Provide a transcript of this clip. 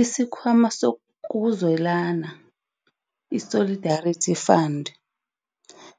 IsiKh wama sokuZwelana, i-Solidarity Fund,